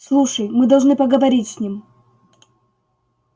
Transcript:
слушай мы должны поговорить с ним